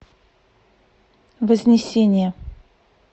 вознесение